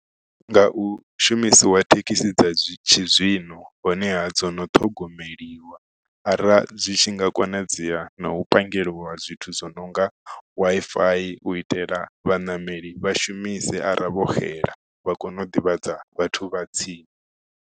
Nga u shumisiwa thekhisi dza zwi tshi zwino honeha dzo no ṱhogomeliwa ara dzi tshi nga konadzea na u pandelwa zwithu dzo nonga wi fi u itela vhaṋameli vha shumise ara vho xela vha kone u ḓivhadza vhathu vha tsini.